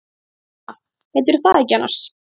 Sunna. heitirðu það ekki annars?